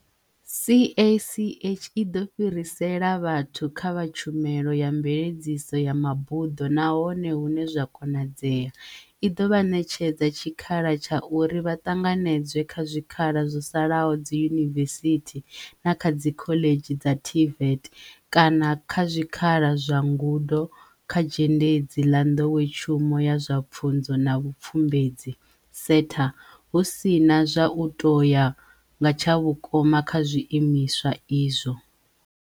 CACH i ḓo fhirisela vhathu kha vha tshumelo ya mveledziso ya mabuḓo nahone hune zwa konadzea, i ḓo vha ṋetshedza tshikhala tsha uri vha ṱanganedzwe kha zwikhala zwo salaho dziyunivesithi na kha dzikhoḽedzhi dza TVET kana kha zwikhala zwa ngudo kha Zhendedzi ḽa Nḓowetshumo ya zwa Pfunzo na Vhupfumbudzi SETA, hu si na zwa u tou ya nga tshavhukoma kha zwiimiswa izwo.